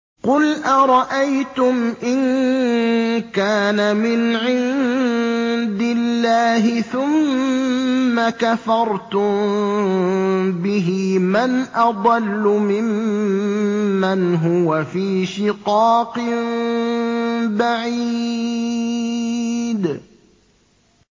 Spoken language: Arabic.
قُلْ أَرَأَيْتُمْ إِن كَانَ مِنْ عِندِ اللَّهِ ثُمَّ كَفَرْتُم بِهِ مَنْ أَضَلُّ مِمَّنْ هُوَ فِي شِقَاقٍ بَعِيدٍ